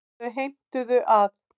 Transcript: Þau heimtuðu að